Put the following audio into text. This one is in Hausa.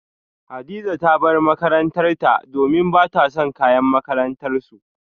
Hadiza ta bar makarantarta domin bata son kayan makarantarsu